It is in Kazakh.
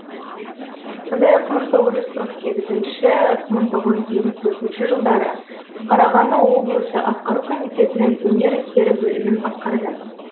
сондай ақ мың тоғыз жүз қырық сегізінші мың тоғыз жүз елу төртінші жылдары қарағанды облысы атқару комитетінің өнер істері бөлімін басқарды